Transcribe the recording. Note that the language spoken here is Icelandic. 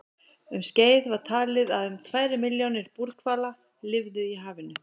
Um skeið var talið að um tvær milljónir búrhvala lifðu í hafinu.